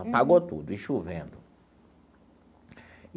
Apagou tudo, e chovendo.